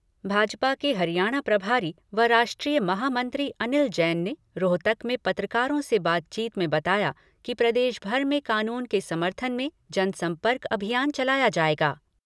भाजपा के हरियाणा प्रभारी व राष्ट्रीय महामंत्री अनिल जैन ने रोहतक में पत्रकारों से बातचीत में बताया कि प्रदेश भर में कानून के समर्थन में जनसंपर्क अभियान चलाया जाएगा।